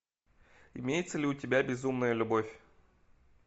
имеется ли у тебя безумная любовь